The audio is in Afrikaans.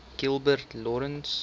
gilbert lawrence